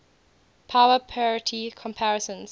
power parity comparisons